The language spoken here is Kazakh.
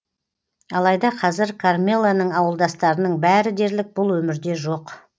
алайда қазір кармелоның ауылдастарының бәрі дерлік бұл өмірде жоқ